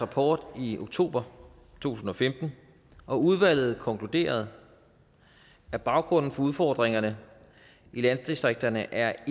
rapport i oktober to tusind og femten og udvalget konkluderede at baggrunden for udfordringerne i landdistrikterne er